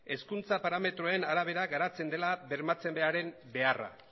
hezkuntza parametroen arabera garatzen dela bermatzearen beharra